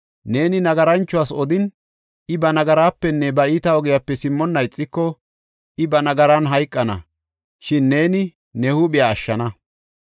Neeni nagaranchuwas odin, I ba nagarapenne ba iita ogiyape simmonna ixiko, I ba nagaran hayqana; shin neeni ne huuphiya ashshana.